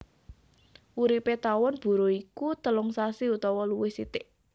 Uripé tawon buruh iku telung sasi utawa luwih sithik